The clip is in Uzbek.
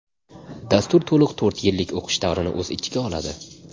Dastur to‘liq to‘rt yillik o‘qish davrini o‘z ichiga oladi.